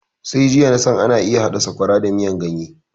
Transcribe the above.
Sai jiya nasan ana iya haɗa sakwara da miyan ganye